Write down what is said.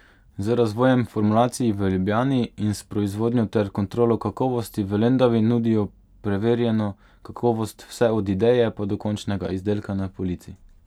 Z razvojem formulacij v Ljubljani in s proizvodnjo ter kontrolo kakovosti v Lendavi nudijo preverjeno kakovost vse od ideje pa do končnega izdelka na polici.